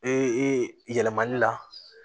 Ee yɛlɛmali la